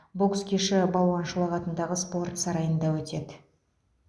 бокс кеші балуан шолақ атындағы спорт сарайында өтеді